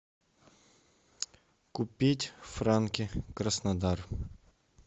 купить франки краснодар